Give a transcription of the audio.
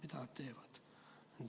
Mida nad teevad?